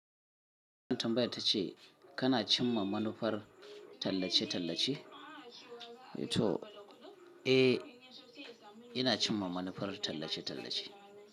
Tambaya tace kana cimma manufar tallace-tallace? To, eh, ina cimma manufar tallace-tallace.